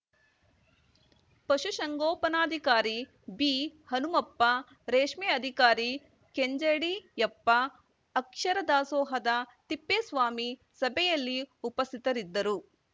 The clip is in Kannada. ಪಶುಸಂಗೋಪನಾಧಿಕಾರಿ ಬಿಹನುಮಪ್ಪ ರೇಷ್ಮೆ ಅಧಿಕಾರಿ ಕೆಂಜಡಿಯಪ್ಪ ಅಕ್ಷರ ದಾಸೋಹದ ತಿಪ್ಪೇಸ್ವಾಮಿ ಸಭೆಯಲ್ಲಿ ಉಪಸ್ಥಿತರಿದ್ದರು